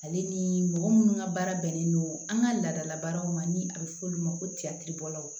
Ale ni mɔgɔ minnu ka baara bɛnnen don an ka laadala baaraw ma ni a bɛ fɔ olu ma ko